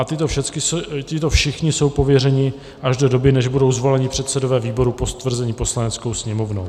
A tito všichni jsou pověřeni až do doby, než budou zvoleni předsedové výborů po stvrzení Poslaneckou sněmovnou.